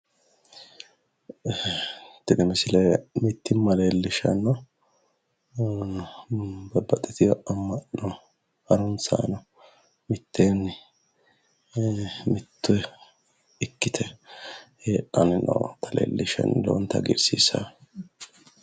tini misile mittimma leellishshanno babbaxitino harunsaano ee mitteenni mitto ikkite heedheenna leellishshanno lowonta hagiirsiissanno.